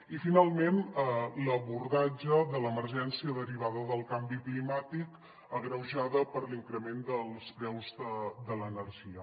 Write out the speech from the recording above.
i finalment l’abordatge de l’emergència derivada del canvi climàtic agreujada per l’increment dels preus de l’energia